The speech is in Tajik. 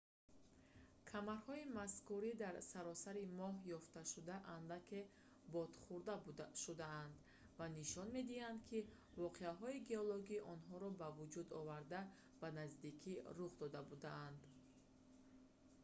камарҳои мазкури дар саросари моҳ ёфтшуда андаке бодхӯрда шудаанд ва нишон медиҳанд ки воқеаҳои геологии онҳоро ба вуҷуд оварда ба наздикӣ рух дода будаанд